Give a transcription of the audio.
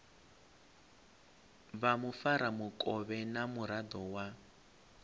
vha mufaramukovhe na muraḓo wa